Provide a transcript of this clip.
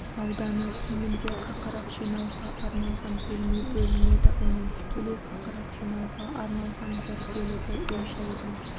ауданы кемінде қақырық жинауға арналған бөлме бөлінеді оның тікелей қақырық жинауға арналған бір бөлігі үй-жайдың